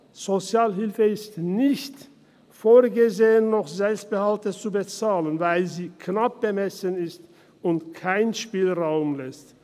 In der Sozialhilfe ist es nicht vorgesehen, noch Selbstbehalte zu bezahlen, weil sie knapp bemessen ist und Spielraum lässt.